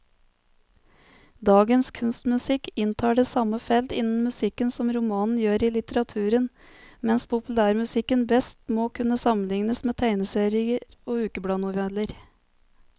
Dagens kunstmusikk inntar det samme felt innen musikken som romanen gjør i litteraturen, mens populærmusikken best må kunne sammenlignes med tegneserier og ukebladnoveller.